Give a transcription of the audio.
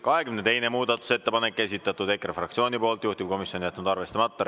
22. muudatusettepanek, esitatud EKRE fraktsiooni poolt, juhtivkomisjon on jätnud arvestamata.